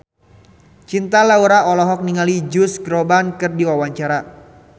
Cinta Laura olohok ningali Josh Groban keur diwawancara